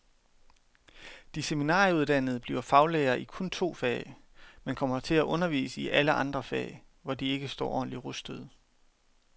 De seminarieuddannede bliver faglærere i kun to fag, men kommer til at undervise i alle andre fag, hvor de ikke står ordentligt rustede.